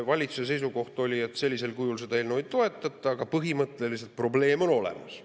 Valitsuse seisukoht oli, et sellisel kujul seda eelnõu ei toetata, aga põhimõtteliselt probleem on olemas.